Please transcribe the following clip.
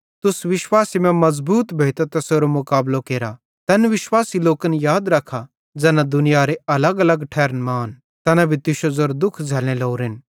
तुस विश्वासे मां मज़बूत भोइतां तैसेरो मुकाबलो केरा तैन विश्वासी लोकन याद रख्खा ज़ैना दुनियारे अलगअलग ठैरन मां आन तैना भी तुश्शो ज़ेरो दुःख झ़ैल्लने लोरेन